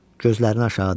Gözlərini aşağı dikdi.